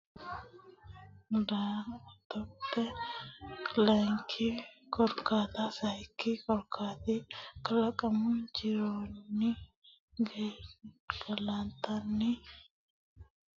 daa attote dargubbanni mittoho umi korkaata layinki korkaata sayikki korkaati Kalaqamu jironni Gangalantanni Nugusu gashshooti sai huxxaminoho hoteele hee ra kawa Daankanninna Xaa yanna Wabishebele Hawaasinni Addisaawunni hayishshi nanni Hoteele gashshooti.